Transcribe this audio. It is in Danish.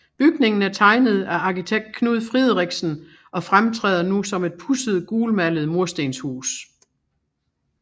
Bygningen er tegnet af arkitekt Knud Friderichsen og fremtræder nu som et pudset gulmalet murstenshus